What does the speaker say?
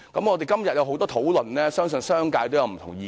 我們今天有很多討論，相信商界亦有不同意見。